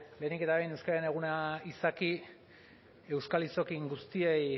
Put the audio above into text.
lehenik eta behin euskararen eguna izaki euskal hiztun guztiei